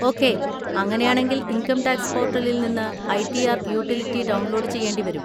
Okay, അങ്ങനെയാണെങ്കിൽ income tax പോർട്ടലിൽ നിന്ന് I. T. R utility download ചെയ്യേണ്ടിവരും.